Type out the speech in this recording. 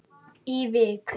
í Vík.